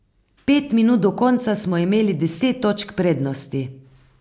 Pet minut do konca smo imeli deset točk prednosti.